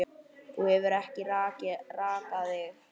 Þú hefur ekki rakað þig.